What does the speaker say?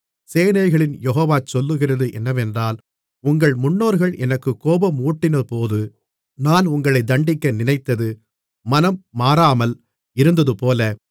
சேனைகளின் யெகோவா சொல்லுகிறது என்னவென்றால் உங்கள் முன்னோர்கள் எனக்குக் கோபமூட்டினபோது நான் உங்களைத் தண்டிக்க நினைத்து மனம் மாறாமல் இருந்ததுபோல